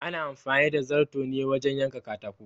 Ana amfani da zarto ne wajen yanka katako